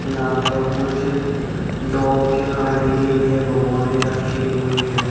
यहां पर कुछ डॉग के खाने के लिए भोगोने रखे हुए हैं।